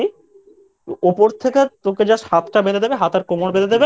উপর থেকে তোকে Just হাতটা বেঁধে দেবে হাত আর কোমর বেঁধে দেবে